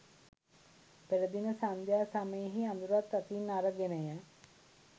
පෙරදින සන්ධ්‍යා සමයෙහි අඳුරත් අතින් අරගෙනය